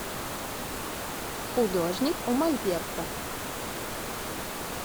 художник у мольберта